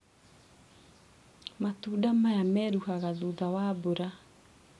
Matunda maya meruhaga thutha wa mbura.